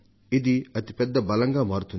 ఇది వారికి అతి పెద్ద బలంగా మారుతుంది